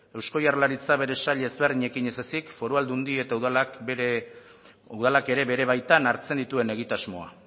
eusko jaurlaritza bere sail ezberdinekin ez ezik foru aldundi eta udalak ere bere baitan hartzen duten egitasmoa